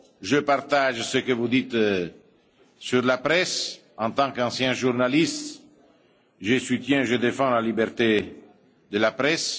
Je partage ce que vous dites sur la presse. En tant qu'ancien journaliste, je soutiens et je défends la liberté de la presse.